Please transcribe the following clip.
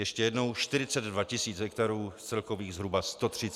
Ještě jednou: 42 tisíc hektarů z celkových zhruba 130 tisíc.